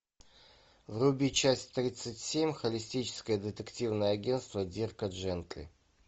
вруби часть тридцать семь холистическое детективное агентство дирка джентли